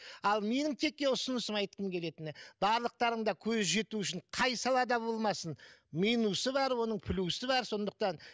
ал менің ұсынысым айтқым келетіні барлықтарың да көзі жетуі үшін қай салада болмасын минусы бар оның плюсы бар сондықтан